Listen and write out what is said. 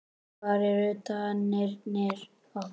Hvar eru danirnir okkar?